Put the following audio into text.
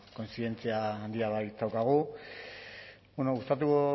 kontzientzia handia baitaukagu gustatuko